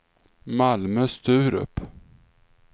Malmö-Sturup